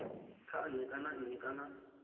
kha nnyi kana nnyi kana